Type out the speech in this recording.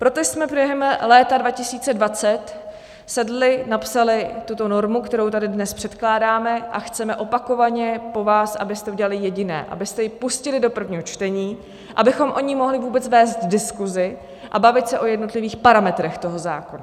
Proto jsme během léta 2020 sedli, napsali tuto normu, kterou tady dnes předkládáme, a chceme opakovaně po vás, abyste udělali jediné: abyste ji pustili do prvního čtení, abychom o ní mohli vůbec vést diskusi a bavit se o jednotlivých parametrech toho zákona.